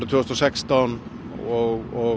tvö þúsund og sextán og